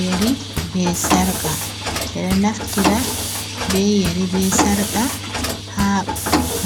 Yeri be sarka, ɓe ɗo naftira be yeri be sarka haa